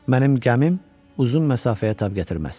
Mənim gəmim uzun məsafəyə tab gətirməz.